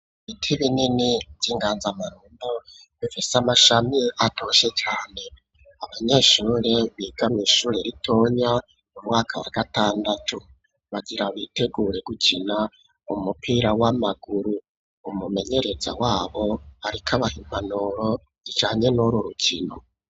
Ibiti binini vy'inganzamarumbo bifise amashami atoshe cane abanyeshuri biga mwishure ritonya mu mwaka bgatandatu bagira bitegure gukina umupira w'amaguru umumenyereza wabo ariko abahimpanuro ijanye n'ururukino.